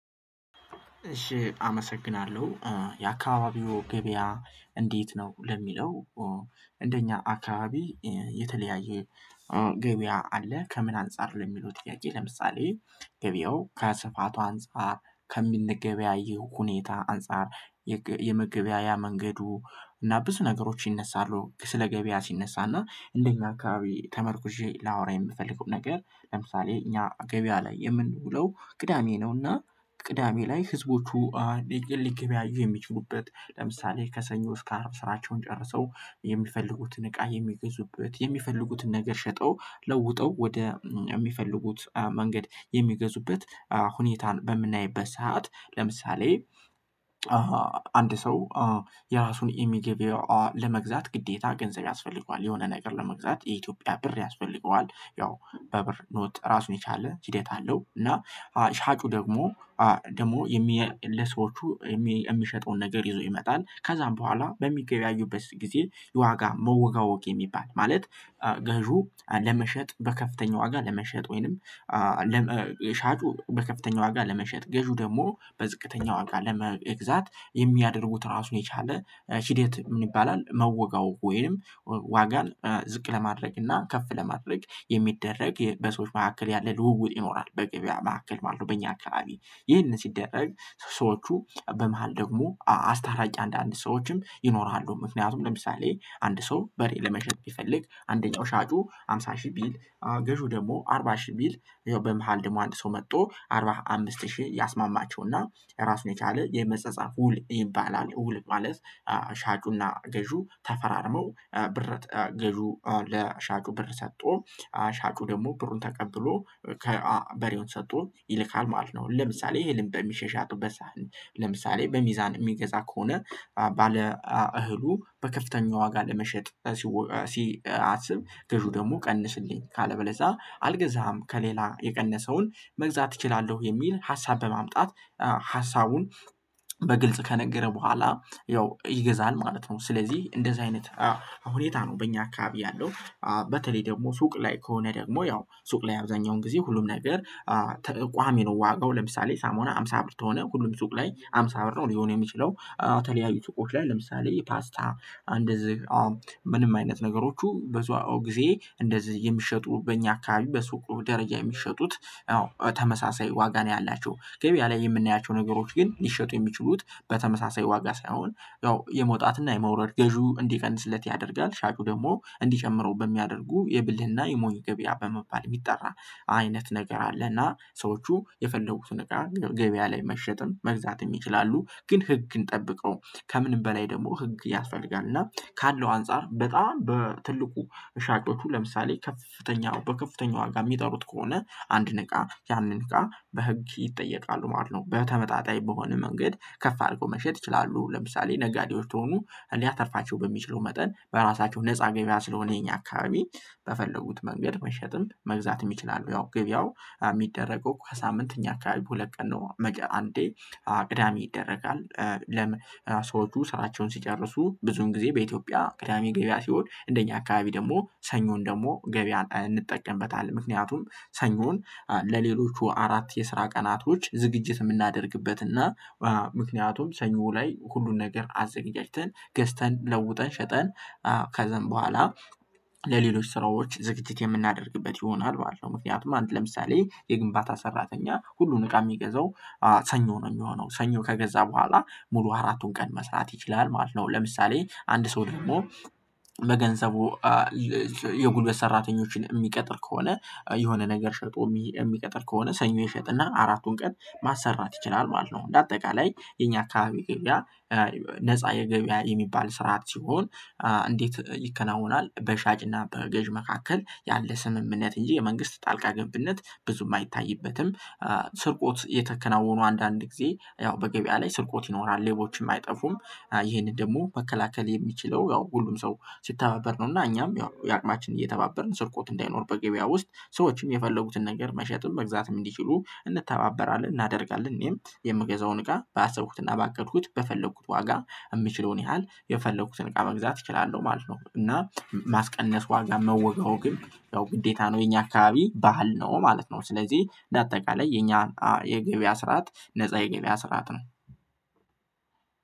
እሺ አመሰግናለሁ የአካባቢው ገበያ እንዴት ነው ለሚለው? እንደኛ አካባቢ የተለያየ ገበያ አለ። ከምን አንፃር ለሚሉት ያየ ለምሳሌ ገበያው ከስፋቷ አንፃር ከምነገበያየው ሁኔታ አንፃር የመገበያያ መንገዱ እና ብዙ ነገሮች ይነሳሉ። ስለ ገበያ ሲነሳና እንደኛ አካባቢ ተመርኩዤ ላወራ የምፈልገው ነገር ለምሳሌ እኛ ገበያ ላይ የምንውለው ቅዳሜ ነውና። ቅዳሜ ላይ ህዝቦቹ ሊገበያዩ የሚችሉበት ለምሳሌ ከሰኞ እስከ አርብ ስራቸውን ጨርሰው የሚፈልጉትን እቃ የሚገዙበት የሚፈልጉትን ነገር ሸጠው ለውጠው ወደ የሚፈልጉት መንገድ የሚገዙበት ሁኔታን በምናይበት ሰዓት ለምሳሌ። አንድ ሰው የራሱን የሚገበው ለመግዛት ግዴታ ገንዘብ ያስፈልገዋል የሆነ ነገር ለመግዛት የኢትዮጵያ ብር ያስፈልገዋል። ያው በብር ኖት ራሱን የቻለ ሂደት አለው። እና ሻጩ ደግሞ ደግሞ የሚል ለሰዎቹ የሚሸጠውን ነገር ይዞ ይመጣል። ከዛም በኋላ በሚገበያዩበት ጊዜ የዋጋ መወጋወግ የሚባል ማለት። ገዢው ለመሸጥ በከፍተኛ ዋጋ ለመሸጥ ወይንም ሻጩ በከፍተኛ ዋጋ ለመሸጥ ገዢው ደግሞ በዝቅተኛ ዋጋ ለመግዛት የሚያደርጉት ራሱ የቻለ ሺዴት ምን ይባላል? መወጋወግ ወይም ዋጋን ዝቅ ለማድረግ እና ከፍ ለማድረግ የሚደረግ በሰዎች መካከል ያለ ልውውጥ ይኖራል በገብያ መካከል ማለት ነው። በእኛ አካባቢ ይህንን ሲደረግ ሰዎቹ በመሃል ደግሞ አስታራቂ አንድ አንድ ሰዎችም ይኖራሉ። ምክንያቱም ለምሳሌ አንድ ሰው በሬ ለመሸጥ ይፈልግ አንደኛው ሻጩ ሃምሳ ሺህ ቢል። ገዢው ደግሞ አርባ ሺህ ቢል ያው በመሃል ደግሞ አንድ ሰው መጥቶ አርባ አምስት ሺህ ያስማማቸው ያስማማቸውና ራሱን የቻለ የመጸጸት ውል ይባላል። እውል ማለት ሻጩና ገዢው ተፈራርመው ብር ገዢው ለሻጩ ብር ሰጦ ሻጩ ደግሞ ብሩን ተቀብሎ ከበሬውን ሰጦ ይልካል ማለት ነው። ለምሳሌ ይሄንን በሚሸሽበት ሳህን ለምሳሌ በሚዛን የሚገዛ ከሆነ። ባለ እህሉ በከፍተኛ ዋጋ ለመሸጥ ሲያስብ ገዢው ደግሞ ቀንስልኝ ካለበለዛ አልገዛም ከሌላ የቀነሰውን መግዛት እችላለሁ የሚል ሀሳብ በማምጣት ሀሳቡን በግልጽ ከነገረ በኋላ ያው ይገዛል ማለት ነው። ስለዚህ እንደዚህ አይነት ሁኔታ ነው በእኛ አካባቢ ያለው። በተለይ ደግሞ ሱቅ ላይ ከሆነ ደግሞ ያው ሱቅ ላይ አብዛኛውን ጊዜ ሁሉም ነገር ተቋሚ ነው። ዋጋው ለምሳሌ ሳሙና አምሳ ብር ከሆነ ሁሉም ሱቅ ላይ አምሳ ብር ነው ሊሆን የሚችለው የተለያዩ ሱቆች ላይ ለምሳሌ ፓስታ እንደዚህ ምንም አይነት ነገሮቹ በዛው ጊዜ እንደዚህ የሚሸጡበት በእኛ አካባቢ በሱቅ ደረጃ የሚሸጡት ተመሳሳይ ዋጋ ነው። ያላቸው ገበያ ላይ የምናያቸው ነገሮች ግን ሊሸጡ የሚችሉት በተመሳሳይ ዋጋ ሳይሆን ያው የመውጣትና የመውረድ ገዢው እንዲቀንስለት ያደርጋል ሻጩ ደግሞ እንዲጨምረው በሚያደርጉ የብልህና የሞይ ገበያ በመባል የሚጠራ። አይነት ነገር አለና ሰዎቹ የፈለጉትን ነገር ገበያ ላይ መሸጥም መግዛትም ይችላሉ። ግን ህግን ጠብቀው ከምንም በላይ ደግሞ ህግ ያስፈልጋል እና ካለው አንፃር በጣም በትልቁ ሻጮቹ ለምሳሌ ከፍተኛ በከፍተኛ ዋጋ የሚጠሩት ከሆነ አንድ ነገር ያንን ጋር በህግ ይጠየቃሉ ማለት ነው። በተመጣጣኝ በሆነ መንገድ ከፍ አድርጎ መሸጥ ይችላሉ ለምሳሌ ነጋዴዎች ከሆኑ ሊያተርፋቸው በሚችለው መጠን በራሳቸው ነፃ ገበያ ስለሆነ ይሄኛ አካባቢ በፈለጉት መንገድ መሸጥም መግዛትም ይችላሉ። ያው ገብያው የሚደረገው ከሳምንት እኛ ሁለት ቀን ነው አንዴ አቅዳሚ ይደረጋል። ለም ሰው ሰአቸውን ሲጨርሱ ብዙን ጊዜ በኢትዮጵያ ቅዳሜ ገበያ ሲሆን እንደኛ አካባቢ ደግሞ ሰኞን ደግሞ ገበያ እንጠቀምበታለን። ምክንያቱም ሰኞን ለሌሎቹ አራት የስራ ቀናቶች ዝግጅት የምናደርግበት እና ምክንያቱም ሰኞ ላይ ሁሉን ነገር አዘጋጅተን ገዝተን ለውጠን ሸጠን ከዛን በኋላ ስራዎች ዝግጅት የምናደርግበት ይሆናል። በኋላ ምክንያቱም አንድ ለምሳሌ የግንባታ ሰራተኛ ሁሉን እቃ የሚገዛው ሰኞ ነው የሚሆነው ሰኞ ከገዛ በኋላ ሙሉ አራቱን ቀን መስራት ይችላል ማለት ነው። ለምሳሌ አንድ ሰው ደግሞ በገንዘቡ የጉልበት ሰራተኞችን የሚቀጥል ከሆነ የሆነ ነገር ሸጦ የሚቀጥል ከሆነ ሰኞ ይሸጥና አራቱን ቀን ማሰራት ይችላል ማለት ነው። እንደ አጠቃላይ የኛ አካባቢ ግብያ ነፃ የገበያ የሚባል ስርዓት ሲሆን እንዴት ይከናወናል በሻጭና በገዥ መካከል ያለ ስምምነት እንጂ የመንግስት ጣልቃ ገብነት ብዙም አይታይበትም። ስርቆት እየተከናወኑ አንዳንድ ጊዜ ያው በገበያ ላይ ስርቆት ይኖራል ሌቦችም አይጠፉም። ይሄንን ደግሞ መከላከል የሚችለው ያው ሁሉም ሰው ሲተባበር ነው። እና እኛም ያው የአቅማችን እየተባበርን ስርቆት እንዳይኖር በገበያ ውስጥ ሰዎችም የፈለጉትን ነገር መሸጥም መግዛትም እንዲችሉ እንተባበራለን እናደርጋለን። እኔም የምገዛውን ጋር ባሰብኩትና ባቀድኩት በፈለኩት ዋጋ የምችለውን ያህል የፈለኩትን እቃ መግዛት እችላለሁ ማለት ነው። እና ማስቀነስ ዋጋ መወጋወግም ግን ያው ግዴታ ነው የኛ አካባቢ ባህል ነው ማለት ነው። ስለዚህ ለአጠቃላይ የኛ የገበያ ስርዓት ነፃ የገበያ ስርዓት ነው።